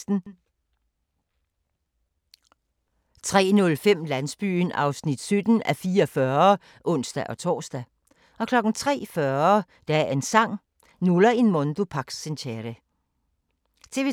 TV 2